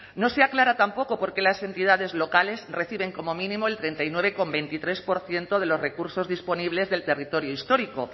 no se aclara tampoco por qué las entidades locales reciben como mínimo el treinta y nueve coma veintitrés por ciento de los recursos disponibles del territorio histórico